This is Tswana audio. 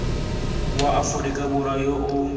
wa aforika borwa yo o